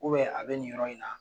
a bɛ nin yɔrɔ in na